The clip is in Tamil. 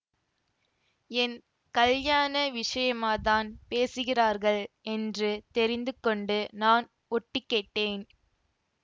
என் கல்யாண விஷயமாத்தான் பேசுகிறார்கள் என்று தெரிந்து கொண்டு நான் ஒட்டுக்கேட்டேன்